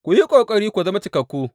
Ku yi ƙoƙari ku zama cikakku.